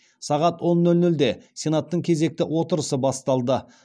сағат он нөл нөлде сенаттың кезекті отырысы басталды